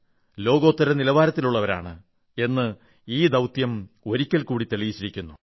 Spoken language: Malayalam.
ലോകോത്തര നിലവാരത്തിലുള്ളവരാണ് എന്ന് ഈ ദൌത്യം ഒരിക്കൽ കൂടി തെളിയിച്ചിരിക്കുന്നു